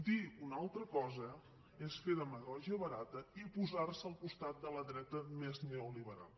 dir una altra cosa és fer demagògia barata i posar se al costat de la dreta més neoliberal